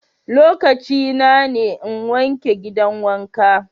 Lokacina ne n'wanke gidan wanka.